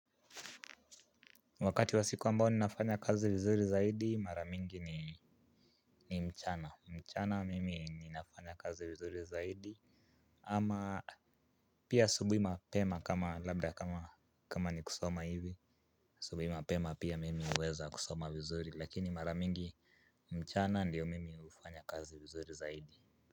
Wakati wa siku ambao ninafanya kazi vizuri zaidi maramingi ni mchana, mchana mimi ni nafanya kazi vizuri zaidi. Ama pia asubuhi mapema kama labda kama ni kusoma hivi asubuhi mapema pia mimi huweza kusoma vizuri lakini maramingi mchana ndio mimi hufanya kazi vizuri zaidi.